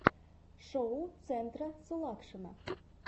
шоу центра сулакшина